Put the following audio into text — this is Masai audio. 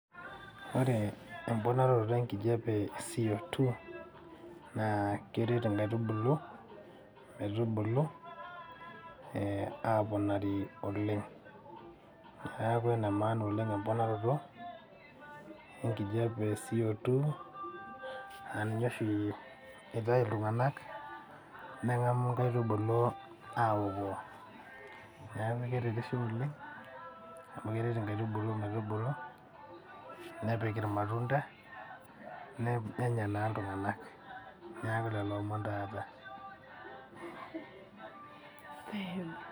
Ore emponarato enkijape e CO2, naa keret inkaitubulu, metubulu aponari oleng. Neeku enemaana oleng emponaroto, enkijape e CO2,naa ninye oshi itayu iltung'anak, neng'amu nkaitubulu aokoo. Neeku keretisho oleng, amu keret nkaitubulu metubulu, nepik irmatunda, nenya naa iltung'anak. Neeku lelo omon taa aata.